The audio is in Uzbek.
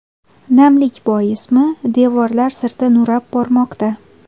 Namlik boismi, devorlar sirti nurab bormoqda.